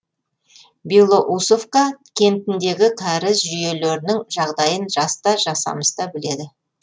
белоусовка кентіндегі кәріз жүйелерінің жағдайын жас та жасамыс та біледі